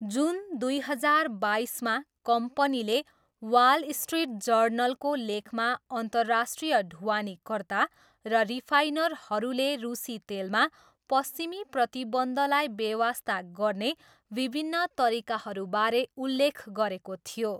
जुन दुई हजार बाइसमा, कम्पनीले वाल स्ट्रिट जर्नलको लेखमा अन्तर्राष्ट्रिय ढुवानीकर्ता र रिफाइनरहरूले रुसी तेलमा पश्चिमी प्रतिबन्धलाई बेवास्ता गर्ने विभिन्न तरिकाहरूबारे उल्लेख गरेको थियो।